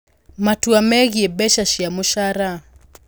Matua megiĩ Mbeca cia Mũcara: